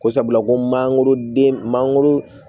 Ko sabula ko mangoroden mangoro